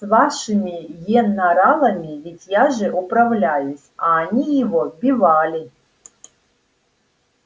с вашими енаралами ведь я же управляюсь а они его бивали